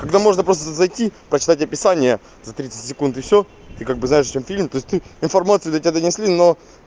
когда можно просто зайти почитать описание за тридцать секунд и всё ты как бы знаешь о чём фильм то есть ты информацию до тебя донесли но